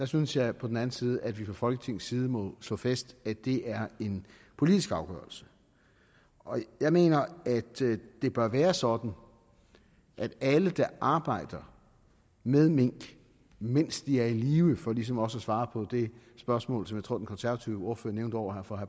synes jeg på den anden side at vi fra folketingets side må slå fast at det er en politisk afgørelse jeg mener at det bør være sådan at alle der arbejder med mink mens minkene er i live for ligesom også at svare på det spørgsmål som jeg tror den konservative ordfører nævnte over for